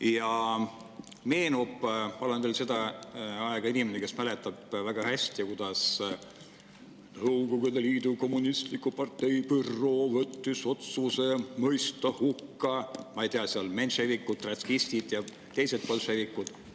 Ja mulle meenub – olen veel selle aja inimene, kes mäletab seda kõike väga hästi –, kuidas Nõukogude Liidu Kommunistliku Partei büroo võttis vastu otsuse mõista hukka, ma ei tea, menševikud, trotskistid ja teised bolševikud.